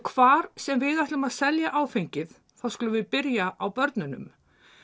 hvar sem við ætlum að selja áfengið þá skulum við byrja á börnunum